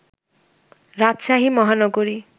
রাজশাহী মহানগরী